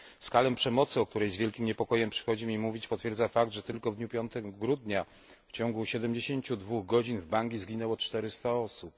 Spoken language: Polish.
Skalę przemocy, o której z wielkim niepokojem przychodzi mi mówić, potwierdza fakt, że tylko w dniu 5 grudnia w ciągu 72 godzin w Bangi zginęło 400 osób.